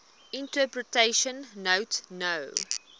interpretation note no